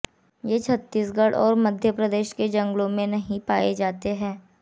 ये छत्तीसगढ़ और मध्य प्रदेश के जंगलों में नहीं पाए जाते हैं